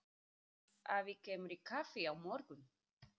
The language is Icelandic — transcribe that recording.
Afi kemur í kaffi á morgun.